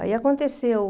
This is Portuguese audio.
Aí aconteceu.